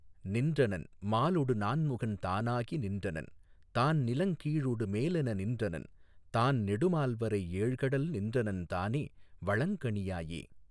நின்றனன் மாலொடு நான்முகன் தானாகி நின்றனன் தான்நிலங் கீழொடு மேலென நின்றனன் தான்நெடு மால்வரை ஏழ்கடல் நின்றனன் தானே வளங்கனி யாயே.